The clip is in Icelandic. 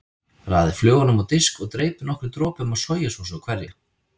Raðið flögunum á disk og dreypið nokkrum dropum af sojasósu á hverja.